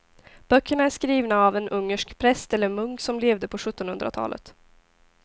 Böckerna är skrivna av en ungersk präst eller munk som levde på sjuttonhundratalet.